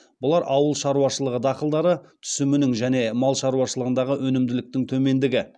бұлар ауыл шаруашылығы дақылдары түсімінің және мал шаруашылығындағы өнімділіктің төмендігі